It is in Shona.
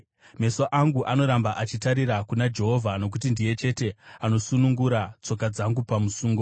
Meso angu anoramba achitarira kuna Jehovha, nokuti ndiye chete anosunungura tsoka dzangu pamusungo.